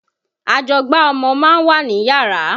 Ajọgbá ọmọ ma ń wà níyàrá.